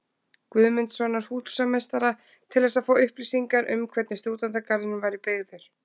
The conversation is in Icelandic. Guðmundssonar húsameistara, til þess að fá upplýsingar um hvernig Stúdentagarðurinn væri byggður.